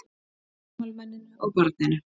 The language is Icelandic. Gamalmenninu og barninu.